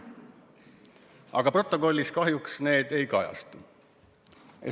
Aga protokollis see kahjuks ei kajastu.